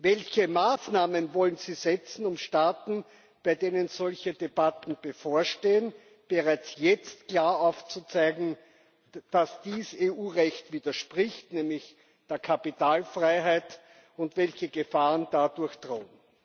Welche Maßnahmen wollen Sie setzen, um Staaten, bei denen solche Debatten bevorstehen, bereits jetzt klar aufzuzeigen, dass dies dem EU Recht widerspricht nämlich der Kapitalfreiheit und welche Gefahren dadurch drohen?